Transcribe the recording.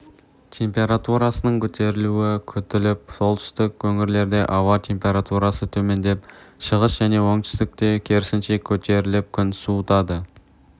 температурасының көтерілуі күтіліп солтүстік өңірлерде ауа температурасы төмендеп шығыс және оңтүстікте керісінше көтеріліп күн суытады